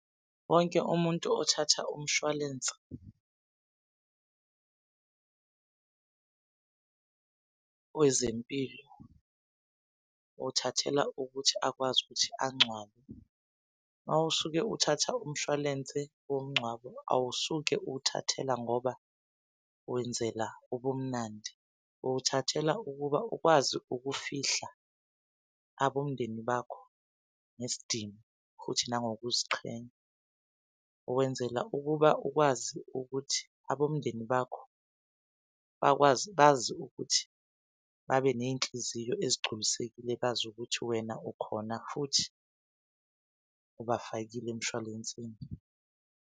Wonke umuntu othatha umshwalense wezempilo uwuthathela ukuthi akwazi ukuthi angcwabe. Mawusuke uthatha umshwalense womngcwabo awusuke uwuthathela ngoba wenzela ubumnandi, uwuthathela ukuba ukwazi ukufihla abomndeni bakho ngesidima futhi nangokuziqhenya. Uwenzela ukuba ukwazi ukuthi abomndeni bakho bakwazi, bazi ukuthi babeney'nhliziyo ezigculisekile, bazi ukuthi wena ukhona futhi ubafakile emshwalensini.